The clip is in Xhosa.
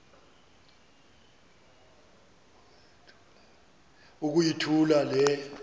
uku yithula le